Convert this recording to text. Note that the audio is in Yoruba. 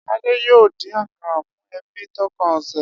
Ade yoo din-din akara fun ebi tókàn ose.